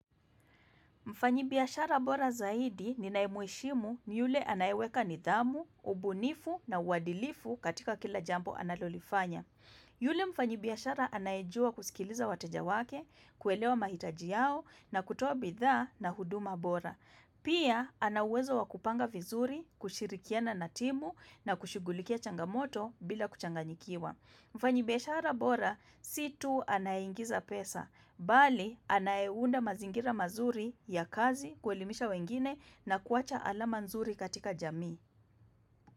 Mfanyibiashara bora zaidi ni naemheshimu ni yule anaeweka nidhamu, ubunifu na uadilifu katika kila jambo analolifanya. Yule mfanyibiashara anaejua kusikiliza watejawake, kuelewa mahitaji yao na kutoa bidhaa na huduma bora. Pia ana uwezo wakupanga vizuri, kushirikiana natimu na kushghulikia changamoto bila kuchanganyikiwa. Mfanyibiashara bora, situ anayeingiza pesa, bali anayeunda mazingira mazuri ya kazi kuelimisha wengine na kuacha ala manzuri katika jamii.